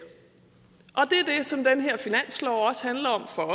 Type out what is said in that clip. er det som den her finanslov også handler om for